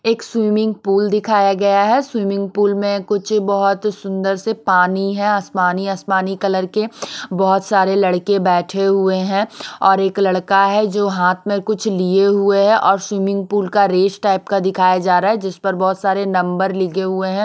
एक swimming pool दिखाया गया है स्विमिंग पूल में कुछ बहुत सुंदर से पानी है आसमानी आसमानी कलर के बहुत सारे लड़के बैठे हुए हैं और एक लड़का है जो हाथ में कुछ लिए हुए हैं और स्विमिंग पूल का रेस टाइप का दिखाया जा रहा है जिस पर बहुत सारे नंबर लिखे हुए हैं।